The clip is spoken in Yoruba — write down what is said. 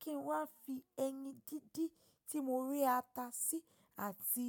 kí n wá fi ẹyin díndín tí mo rẹ ata sí àti.